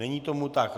Není tomu tak.